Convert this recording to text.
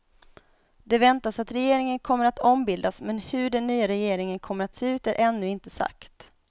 Det väntas att regeringen kommer att ombildas men hur den nya regeringen kommer att se ut är ännu inte sagt.